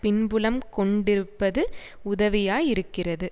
பின்புலம் கொண்டிருப்பது உதவியாய் இருக்கிறது